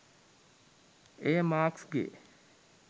එය මාක්ස්ගේ